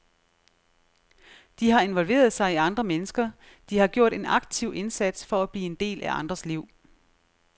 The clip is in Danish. De har involveret sig i andre mennesker, de har gjort en aktiv indsats for at blive en del af andres liv.